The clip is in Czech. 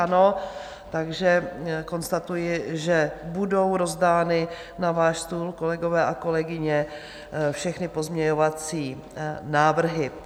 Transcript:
Ano, takže konstatuji, že budou rozdány na váš stůl, kolegové a kolegyně, všechny pozměňovací návrhy.